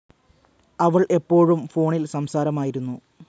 അവൾ എപ്പോഴും ഫോണിൽ സംസാരമായിരുന്നു.